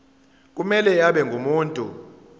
kumele abe ngumuntu